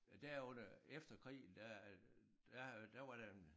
Der under efter krigen der der der var der en